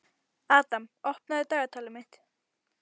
Adam, opnaðu dagatalið mitt.